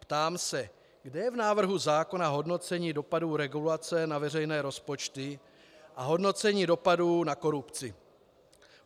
Ptám se: Kde je v návrhu zákona hodnocení dopadů regulace na veřejné rozpočty a hodnocení dopadů na korupci?